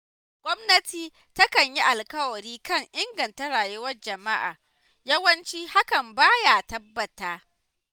Gwamnati takan yi alƙawari kan inganta rayuwar jama'a yawanci hakan ba ya tabbata.